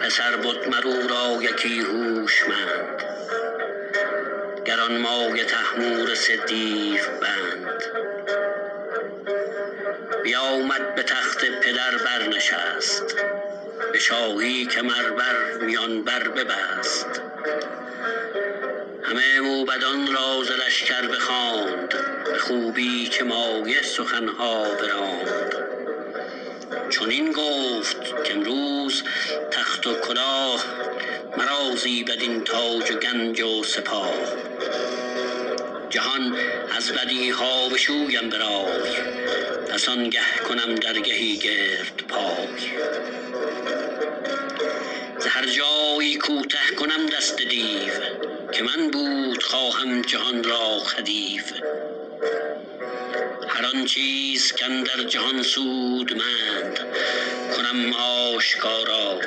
پسر بد مر او را یکی هوشمند گرانمایه طهمورث دیو بند بیامد به تخت پدر بر نشست به شاهی کمر بر میان بر ببست همه موبدان را ز لشکر بخواند به خوبی چه مایه سخن ها براند چنین گفت کامروز تخت و کلاه مرا زیبد این تاج و گنج و سپاه جهان از بدی ها بشویم به رای پس آنگه کنم درگهی گرد پای ز هر جای کوته کنم دست دیو که من بود خواهم جهان را خدیو هر آن چیز کاندر جهان سودمند کنم آشکارا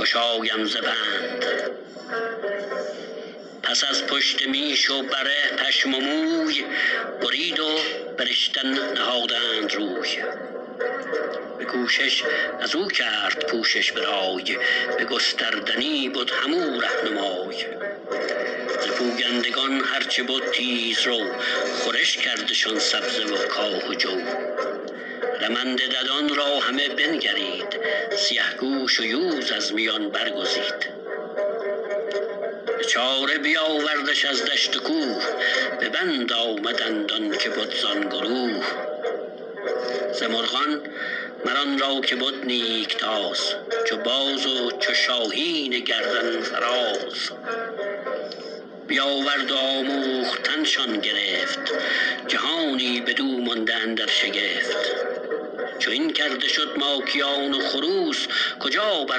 گشایم ز بند پس از پشت میش و بره پشم و موی برید و به رشتن نهادند روی به کوشش از او کرد پوشش به رای به گستردنی بد هم او رهنمای ز پویندگان هر چه بد تیز رو خورش کردشان سبزه و کاه و جو رمنده ددان را همه بنگرید سیه گوش و یوز از میان برگزید به چاره بیاوردش از دشت و کوه به بند آمدند آن که بد زان گروه ز مرغان مر آن را که بد نیک تاز چو باز و چو شاهین گردن فراز بیاورد و آموختن شان گرفت جهانی بدو مانده اندر شگفت چو این کرده شد ماکیان و خروس کجا بر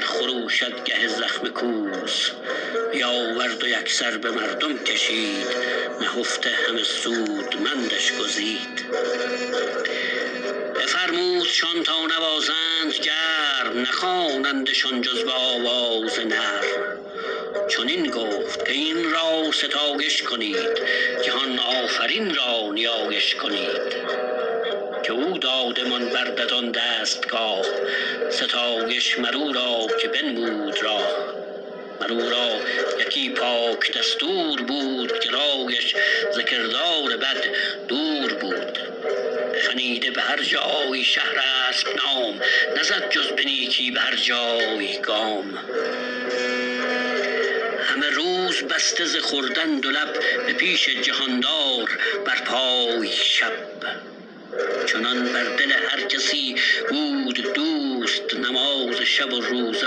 خروشد گه زخم کوس بیاورد و یک سر به مردم کشید نهفته همه سودمندش گزید بفرمودشان تا نوازند گرم نخوانندشان جز به آواز نرم چنین گفت کاین را ستایش کنید جهان آفرین را نیایش کنید که او دادمان بر ددان دستگاه ستایش مر او را که بنمود راه مر او را یکی پاک دستور بود که رایش ز کردار بد دور بود خنیده به هر جای شهرسپ نام نزد جز به نیکی به هر جای گام همه روز بسته ز خوردن دو لب به پیش جهاندار بر پای شب چنان بر دل هر کسی بود دوست نماز شب و روزه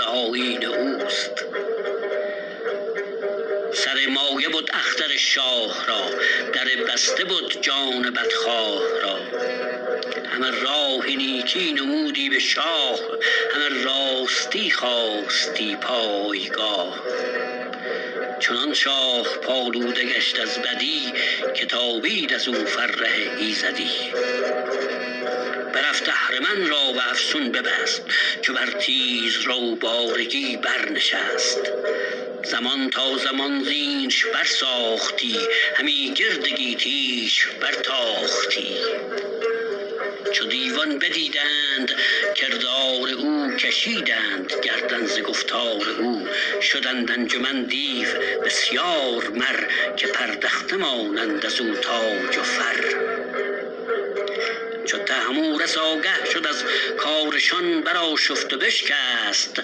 آیین اوست سر مایه بد اختر شاه را در بسته بد جان بدخواه را همه راه نیکی نمودی به شاه همه راستی خواستی پایگاه چنان شاه پالوده گشت از بدی که تابید ازو فره ایزدی برفت اهرمن را به افسون ببست چو بر تیز رو بارگی بر نشست زمان تا زمان زینش بر ساختی همی گرد گیتی ش بر تاختی چو دیوان بدیدند کردار او کشیدند گردن ز گفتار او شدند انجمن دیو بسیار مر که پردخته مانند از او تاج و فر چو طهمورث آگه شد از کارشان بر آشفت و بشکست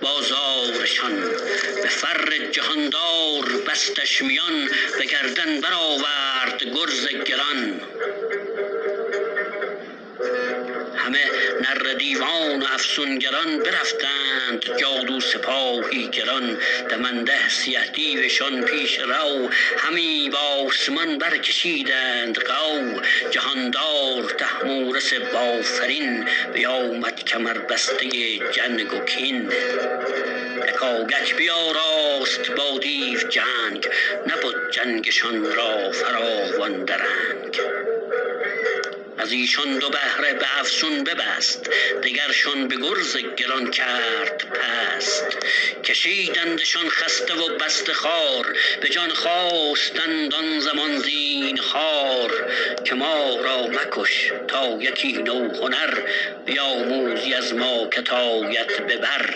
بازارشان به فر جهاندار بستش میان به گردن بر آورد گرز گران همه نره دیوان و افسونگران برفتند جادو سپاهی گران دمنده سیه دیوشان پیش رو همی بآسمان برکشیدند غو جهاندار طهمورث بافرین بیامد کمربسته جنگ و کین یکایک بیاراست با دیو جنگ نبد جنگشان را فراوان درنگ از ایشان دو بهره به افسون ببست دگرشان به گرز گران کرد پست کشیدندشان خسته و بسته خوار به جان خواستند آن زمان زینهار که ما را مکش تا یکی نو هنر بیاموزی از ما که ت آید به بر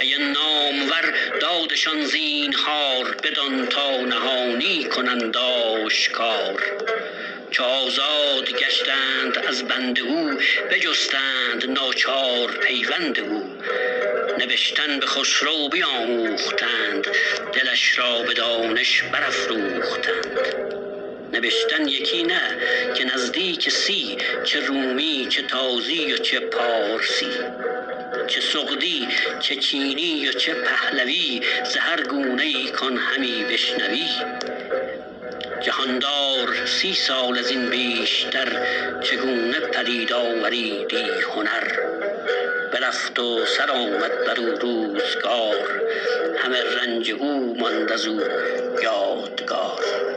کی نامور دادشان زینهار بدان تا نهانی کنند آشکار چو آزاد گشتند از بند او بجستند ناچار پیوند او نبشتن به خسرو بیاموختند دلش را به دانش برافروختند نبشتن یکی نه که نزدیک سی چه رومی چه تازی و چه پارسی چه سغدی چه چینی و چه پهلوی ز هر گونه ای کان همی بشنوی جهاندار سی سال از این بیشتر چه گونه پدید آوریدی هنر برفت و سر آمد بر او روزگار همه رنج او ماند از او یادگار